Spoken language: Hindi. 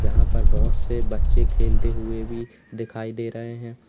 यहां पर बहोत से बच्चे खेलते हुए भी दिखाई दे रहे हैं।